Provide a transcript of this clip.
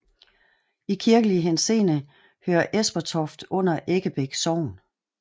I kirkelig henseende hører Esperstoft under Eggebæk Sogn